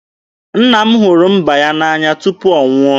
Nna m hụrụ mba ya n'anya tupu ọ nwụọ.